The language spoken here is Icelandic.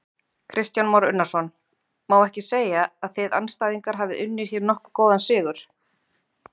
Kristján Már Unnarsson: Má ekki segja að þið andstæðingar hafi unnið hér nokkuð góðan sigur?